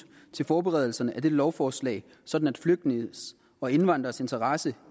til forberedelserne af det lovforslag sådan at flygtninges og indvandreres interesse